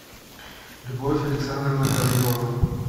любовь александровна гаврилова